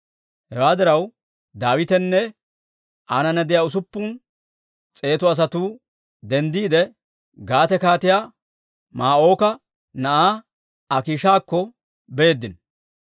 Hewaa diraw, Daawitenne aanana de'iyaa usuppun s'eetu asatuu denddiide, Gaate Kaatiyaa Maa'ooka na'aa Akiishakko beeddino.